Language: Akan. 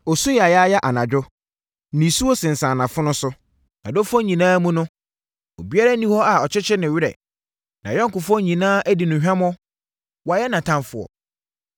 Ɔsu yaayaaya anadwo, nisuo sensane nʼafono so. Nʼadɔfoɔ nyinaa mu no, ɔbiara nni hɔ a ɔkyekyere ne werɛ. Nʼayɔnkofoɔ nyinaa adi no hwammɔ Wɔayɛ nʼatamfoɔ.